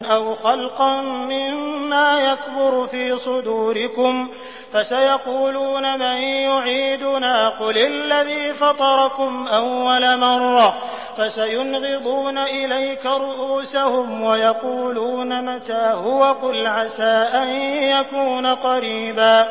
أَوْ خَلْقًا مِّمَّا يَكْبُرُ فِي صُدُورِكُمْ ۚ فَسَيَقُولُونَ مَن يُعِيدُنَا ۖ قُلِ الَّذِي فَطَرَكُمْ أَوَّلَ مَرَّةٍ ۚ فَسَيُنْغِضُونَ إِلَيْكَ رُءُوسَهُمْ وَيَقُولُونَ مَتَىٰ هُوَ ۖ قُلْ عَسَىٰ أَن يَكُونَ قَرِيبًا